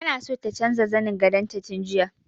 Ta so ta canja zanin gadon ta tun jiya.